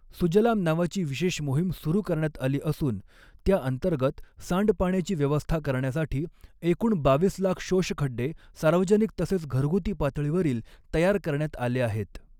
सुजलाम नावाची विशेष मोहीम सुरु करण्यात आली असून त्याअंतर्गत सांडपाण्याची व्यवस्था करण्यासाठी एकूण बावीस लाख शोषखड्डे सार्वजनिक तसेच घरगुती पातळीवरील तयार करण्यात आले आहेत.